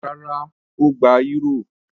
Rárá, ó gba eúrò.